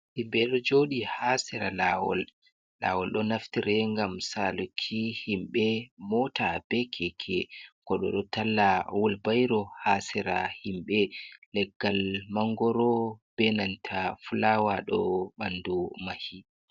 Himɓe ɗo jodi ha sera lawol. Lawol ɗo naftire ngam saluki himɓe mota be keke. Goɗɗo ɗo talla wulbairo ha sera himɓe, leggal mangoro benanta fulawa ɗo ɓandu mahi.